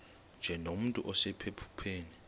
nje nomntu osephupheni